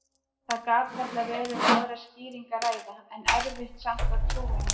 Það gat varla verið um aðra skýringu að ræða, en erfitt samt að trúa henni.